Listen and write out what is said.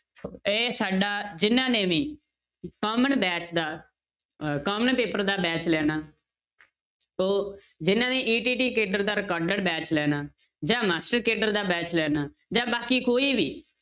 ਇਹ ਸਾਡਾ ਜਿਹਨਾਂ ਨੇ ਵੀ batch ਦਾ ਅਹ paper ਦਾ batch ਲੈਣਾ ਉਹ ਜਿਹਨਾਂ ਨੇ ETT ਕੇਡਰ ਦਾ recorded batch ਲੈਣਾ, ਜਾਂ ਮਾਸਟਰ ਕੇਡਰ ਦਾ batch ਲੈਣਾ ਜਾਂ ਬਾਕੀ ਕੋਈ ਵੀ